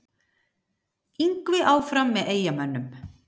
Yngvi áfram með Eyjamönnum